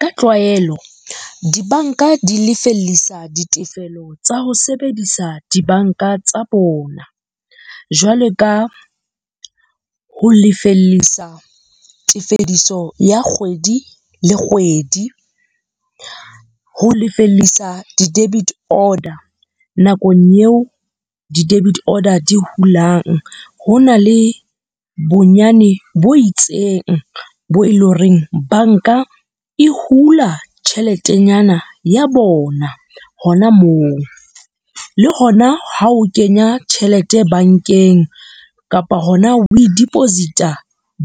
Ka tlwaelo, dibanka di lefellisa ditefelo tsa ho sebedisa di banka tsa bona, jwale ka ho lefellisa tefediso ya kgwedi le kgwedi, ho lefellisa di-debit order. Nakong eo di debit order di hulang, ho na le bonyane bo itseng bo e le horeng, banka e hula tjheletenyana ya bona hona moo. Le hona ha o kenya tjhelete bankeng kapa hona o e deposit-a